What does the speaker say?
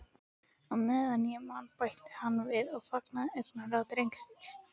Meðan ég man- bætti hann við og fangaði augnaráð drengsins.